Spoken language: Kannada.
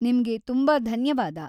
ನಿಮ್ಗೆ ತುಂಬಾ ಧನ್ಯವಾದ.